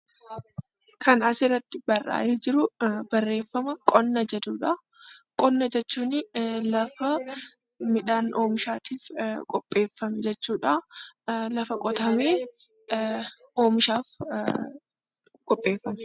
Qonna jechuun lafa midhaan oomishaatiif qophaaye jechuudha. Lafa qotamee oomishaaf qopheeffamedha.